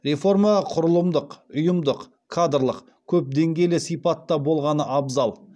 реформа құрылымдық ұйымдық кадрлық көпдеңгейлі сипатта болғаны абзал